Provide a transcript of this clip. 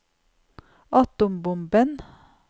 atombomben